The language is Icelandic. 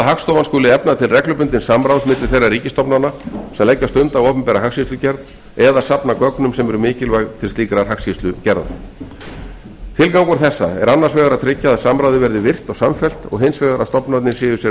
hagstofan skuli efna til reglubundins samráðs milli þeirra ríkisstofnana sem leggja stund á opinbera hagskýrslugerð eða safna gögnum sem eru mikilvæg til slíkrar hagskýrslugerðar tilgangur þessa er annars vegar að tryggja að samráðið verði virkt og samfellt og hins vegar að stofnanir séu sér